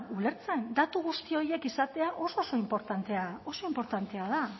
ulertzen datu guzti horiek izatea oso oso inportantea oso inportantea da